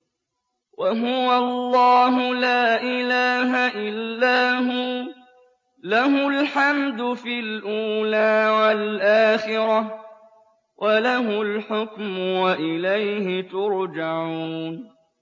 وَهُوَ اللَّهُ لَا إِلَٰهَ إِلَّا هُوَ ۖ لَهُ الْحَمْدُ فِي الْأُولَىٰ وَالْآخِرَةِ ۖ وَلَهُ الْحُكْمُ وَإِلَيْهِ تُرْجَعُونَ